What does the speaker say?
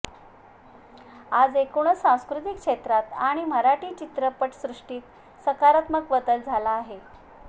आज एकूणच सांस्कृतिक क्षेत्रात आणि मराठी चित्रपटसृष्टीत सकारात्मक बदल झाला आहे